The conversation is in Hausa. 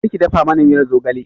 Kar ki dafa mana miyar zogale!